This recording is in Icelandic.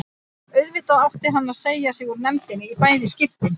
Auðvitað átti hann að segja sig úr nefndinni í bæði skiptin.